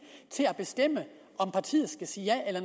til at bestemme om partiet skal sige ja eller